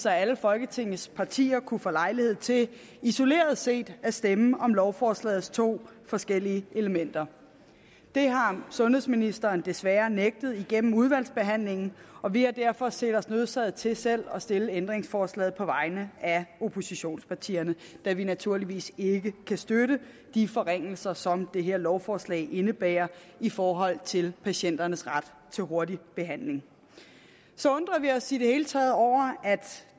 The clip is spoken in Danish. at alle folketingets partier kunne få lejlighed til isoleret set at stemme om lovforslagets to forskellige elementer det har sundhedsministeren desværre nægtet igennem udvalgsbehandlingen og vi har derfor set os nødsaget til selv at stille ændringsforslaget på vegne af oppositionspartierne da vi naturligvis ikke kan støtte de forringelser som det her lovforslag indebærer i forhold til patienternes ret til hurtig behandling så undrer vi os i det hele taget over at